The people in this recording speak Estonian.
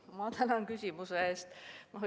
Ma tänan küsimuse eest!